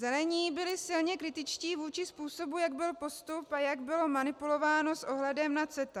Zelení byli silně kritičtí vůči způsobu, jak byl postup a jak bylo manipulováno s ohledem na CETA.